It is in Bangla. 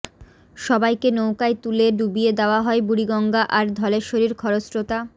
সবাইকে নৌকায় তুলে ডুবিয়ে দেওয়া হয় বুড়িগঙ্গা আর ধলেশ্বরীর খরস্রোতা